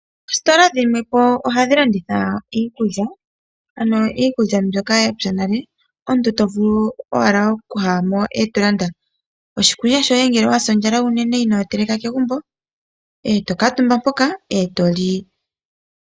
Oositola dhimwe ohadhi landitha iikulya mbyoka ya pya nale . No ngele owa sa ondja oto vulu okwii landela oshiikwila shoye.